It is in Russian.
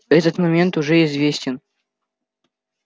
этот момент уже известен